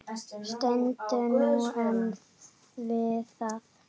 Stendur þú enn við það?